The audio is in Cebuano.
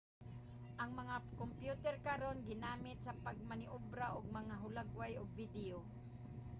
ang mga kyomputer karon ginagamit sa pagmaneobra og mga hulagway ug video